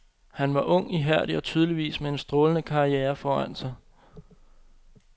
Han var ung, ihærdig og tydeligvis med en strålende karriere foran sig.